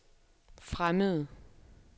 fremmede